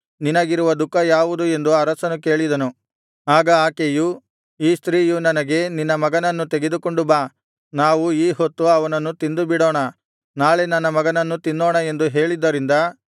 ನಿನಗಿರುವ ದುಃಖ ಯಾವುದು ಎಂದು ಅರಸನು ಕೇಳಿದನು ಆಗ ಆಕೆಯು ಈ ಸ್ತ್ರೀಯು ನನಗೆ ನಿನ್ನ ಮಗನನ್ನು ತೆಗೆದುಕೊಂಡು ಬಾ ನಾವು ಈ ಹೊತ್ತು ಅವನನ್ನು ತಿಂದುಬಿಡೋಣ ನಾಳೆ ನನ್ನ ಮಗನನ್ನು ತಿನ್ನೋಣ ಎಂದು ಹೇಳಿದ್ದರಿಂದ